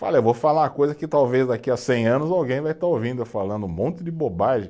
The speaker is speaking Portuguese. Falei, eu vou falar uma coisa que talvez daqui a cem anos alguém vai estar ouvindo eu falando um monte de bobagem.